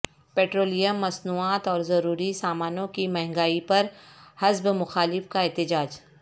petroleum مصنوعات اور ضروری سامانوں کی مہنگائی پر حزب مخالف کا احتجاج